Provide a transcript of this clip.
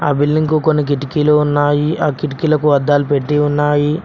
ఆ బిల్డింగ్ కొన్ని కిటికీలు ఉన్నాయి ఆ కిటికీలకు అద్దాలు పెట్టి ఉన్నాయి.